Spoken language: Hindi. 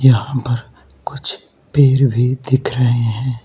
यहाँ पर कुछ पेड़ भी दिख रहे हैं।